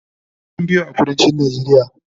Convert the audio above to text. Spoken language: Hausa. inyamurai sun Fi yawa a kuduncin najeriya